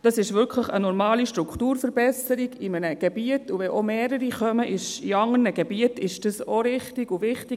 Dies ist wirklich eine normale Strukturverbesserung in einem Gebiet, und wenn in anderen Gebieten mehrere kommen, ist dies auch richtig und wichtig.